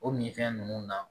O minfɛn ninnu na